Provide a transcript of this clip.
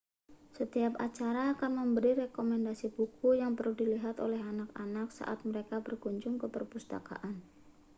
setiap acara akan memberi rekomendasi buku yang perlu dilihat oleh anak-anak saat mereka berkunjung ke perpustakaan